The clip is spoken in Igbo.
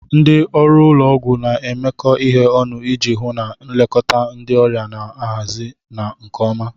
Ndị ọrụ ụlọ ọgwụ na-emekọ ihe ọnụ iji hụ na nlekọta ndị ọrịa na-ahazi na nke ọma.